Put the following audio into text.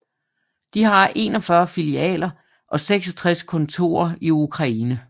De har 41 filialer og 66 kontorer i Ukraine